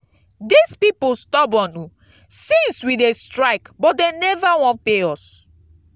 dis people stubborn oo since we dey strike but dey never wan pay us